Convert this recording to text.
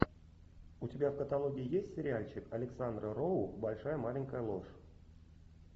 у тебя в каталоге есть сериальчик александра роу большая маленькая ложь